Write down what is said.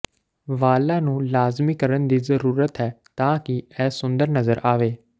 ਵਾਲਾਂ ਨੂੰ ਲਾਜ਼ਮੀ ਕਰਨ ਦੀ ਜ਼ਰੂਰਤ ਹੈ ਤਾਂ ਕਿ ਇਹ ਸੁੰਦਰ ਨਜ਼ਰ ਆਵੇ